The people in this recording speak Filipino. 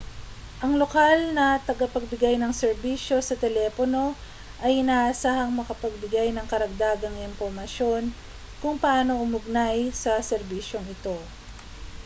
ang lokal na tagapagbigay ng serbisyo sa telepono ay inaasahang makapagbigay ng karagdagang impormasyon kung paano umugnay sa serbisyong ito